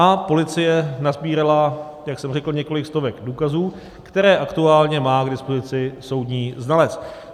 A policie nasbírala, jak jsem řekl, několik stovek důkazů, které aktuálně má k dispozici soudní znalec.